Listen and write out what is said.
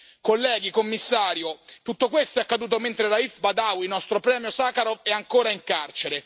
Colleghi, commissario, tutto questo è accaduto mentre Raif Badawi, il nostro premio Sacharov, è ancora in carcere.